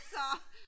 Så